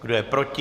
Kdo je proti?